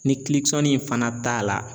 Ni in fana t'a la